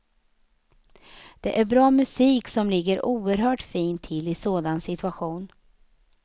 Det är bra musik som ligger oerhört fint till i en sådan situation.